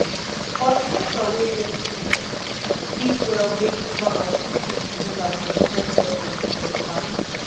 cultivator we get teeth fit well make farmers fit easy use am for different soil conditions fast